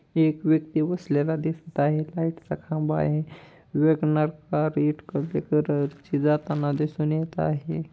एक व्यक्ती बसलेला दिसत आहे. लाईटचा खाब आहे. इटकरी कलर ची जाताना दिसून येत आहे.